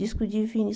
Disco de Vinil.